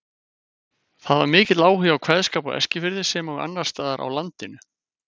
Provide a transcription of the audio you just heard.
Það var mikill áhugi á kveðskap á Eskifirði sem og annars staðar á landinu.